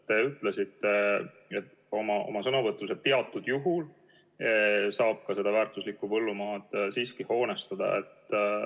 Te ütlesite oma sõnavõtus, et teatud juhul saabki väärtuslikku põllumaad siiski hoonestada.